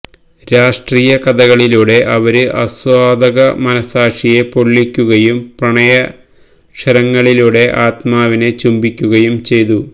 രാഷ്ട്രീയ കഥകളിലൂടെ അവര് ആസ്വാദക മനഃസാക്ഷിയെ പൊള്ളിക്കുകയും പ്രണയാക്ഷരങ്ങളിലൂടെ ആത്മാവിനെ ചുംബിക്കുകയും ചെയ്തു